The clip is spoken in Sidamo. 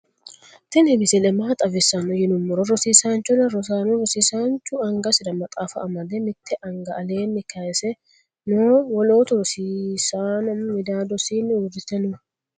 tini misile maa xawisano yinumoro roosisanchona roosano rosisancuu angasira maaxafa amade mtte anga allenni kayise noo wolotu rosisano midadosinni urite noo.